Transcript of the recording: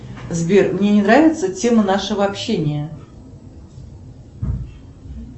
сбер мне не нравится тема нашего общения